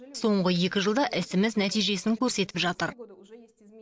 соңғы екі жылда ісіміз нәтижесін көрсетіп жатыр